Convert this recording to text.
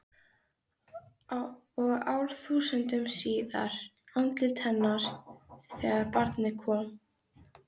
Og árþúsundum síðar- andlit hennar þegar barnið kom.